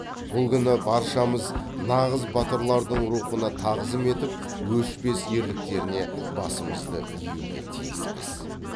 бұл күні баршамыз нағыз батырлардың рухына тағзым етіп өшпес ерліктеріне басымызды июге тиіспіз